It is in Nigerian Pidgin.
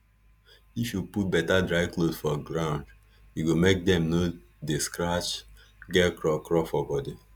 if you put better dry cloth for ground e go make dem no dey scratch get craw craw for body